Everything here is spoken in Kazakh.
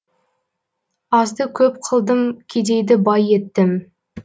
азды көп қылдым кедейді бай еттім